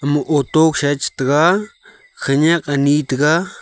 ma auto khoshae tega khanyak ani tega.